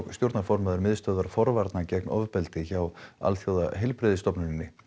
stjórnarformaður miðstöðvar forvarna gegn ofbeldi hjá Alþjóðaheilbrigðisstofnuninni